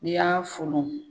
N'i y'a folon